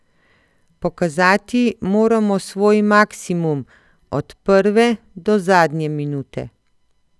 Pokazati moramo svoj maksimum, od prve do zadnje minute.